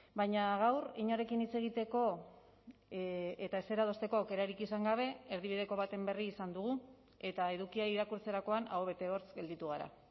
baina gaur inorekin hitz egiteko eta ezer adosteko aukerarik izan gabe erdibideko baten berri izan dugu eta edukia irakurtzerakoan aho bete hortz gelditu gara